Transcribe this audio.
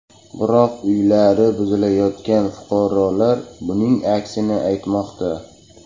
Biroq uylari buzilayotgan fuqarolar buning aksini aytmoqda.